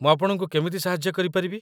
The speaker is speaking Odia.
ମୁଁ ଆପଣଙ୍କୁ କେମିତି ସାହାଯ୍ୟ କରିପାରିବି ?